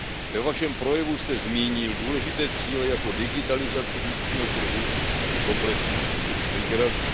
Ve Vašem projevu jste zmínil důležité cíle, jako jsou digitalizaci vnitřního trhu či komplexní přístup k migraci.